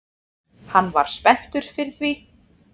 Hann var spenntur fyrir því